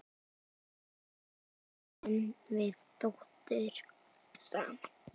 Eigum við dóttur saman?